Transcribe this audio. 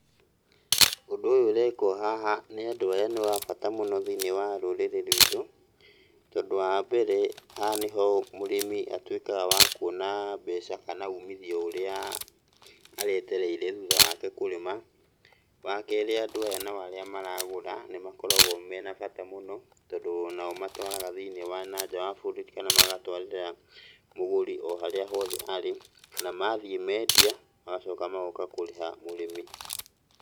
Ũndũ ũyũ ũrekwo haha nĩ andũ aya nĩ wa bata mũno thĩiniĩ wa rũrĩrĩ rwitũ, tondũ wa mbere, haha nĩho mũrĩmi atuĩkaga wa kuona mbeca kana umithio ũrĩa aretereire thutha wake kũrĩma. Wa kerĩ andũ aya nao arĩa maragũra, nĩ makoragwo mena bata mũno tondũ onao matwaraga thĩiniĩ wa nanja wa bũrũri, kana magatwarĩra mũgũri o harĩa hothe arĩ, na mathiĩ mendia magacoka magoka kũrĩha mũrĩmi.